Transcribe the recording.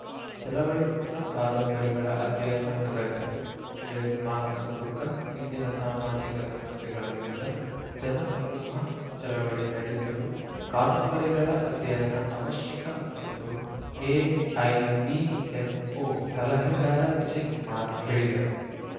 ಚಳವಳಿ ಮುನ್ನ ಕಾದಂಬರಿಗಳ ಅಧ್ಯಯನ ಅಗತ್ಯ ವಿಜಯಕುಮಾರ್‌ ಹೊಸದುರ್ಗ ಇಂದಿನ ಸಾಮಾಜಿಕ ಸಮಸ್ಯೆಗಳ ವಿರುದ್ಧ ಜನ ಸಮೂಹ ಚಳವಳಿ ನಡೆಸಲು ಕಾದಂಬರಿಗಳ ಅಧ್ಯಯನ ಅವಶ್ಯಕ ಎಂದು ಎಐಡಿಎಸ್‌ಒ ಸಲಹೆಗಾರ ವಿಜಯಕುಮಾರ್‌ ಹೇಳಿದರು